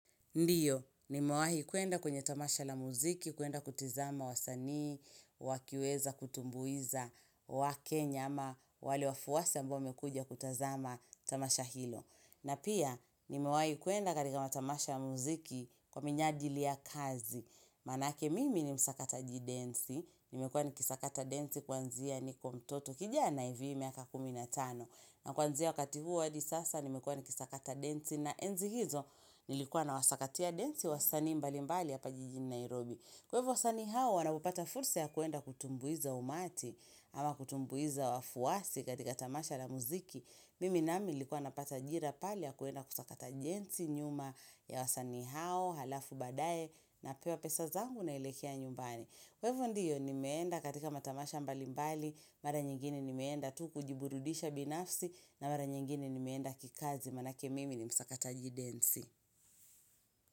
Ndiyo, nimewahi kwenda kwenye tamasha la muziki, kwenda kutizama wasanii, wakiweza kutumbuiza, wakenya ama wale wafuasi ambao wamekuja kutazama tamasha hilo. Na pia, nimewahi kwenda katika matamasha ya muziki kwa minajili ya kazi. Maanake mimi ni msakataji densi, nimekuwa nikisakata densi kuanzia niko mtoto kijana hivi miaka kumi na tano. Na kuanzia wakati huo hadi sasa nimekuwa nikisakata densi na enzi hizo nilikuwa nawasakatia densi wasanii mbalimbali hapa jijini Nairobi. Kwa hivyo wasanii hao wanapopata fursa ya kwenda kutumbuiza umati ama kutumbuiza wafuasi katika tamasha la muziki. Mimi nami nilikuwa napata ajira pale ya kwenda kutakata densi nyuma ya wasanii hao halafu baadaye napewa pesa zangu naelekea nyumbani. Kwa hivyo ndiyo ni meenda katika matamasha mbali mbali, mara nyingine ni meenda tu kujiburudisha binafsi na mara nyingine ni meenda kikazi maanake mimi ni msakata jidensi.